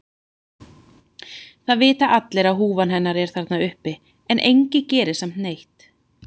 Það vita allir að húfan hennar er þarna uppi en enginn gerir samt neitt.